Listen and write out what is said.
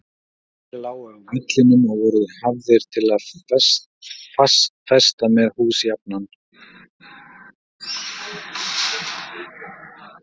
Strengir lágu á vellinum og voru hafðir til að festa með hús jafnan.